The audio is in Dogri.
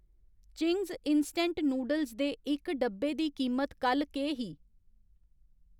चिंग्स इंस्टैंट नूडल्स दे इक डब्बे दी कीमत कल्ल केह् ही?